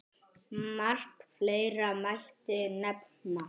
Margt fleira mætti nefna.